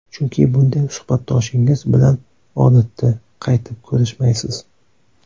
Chunki bunday suhbatdoshingiz bilan, odatda, qaytib ko‘rishmaysiz.